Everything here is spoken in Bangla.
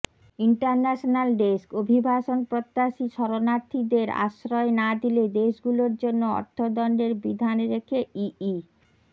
ইন্টারন্যাশনাল ডেস্কঃ অভিবাসন প্রত্যাশী শরণার্থীদের আশ্রয় না দিলে দেশগুলোর জন্য অর্থদণ্ডের বিধান রেখে ইই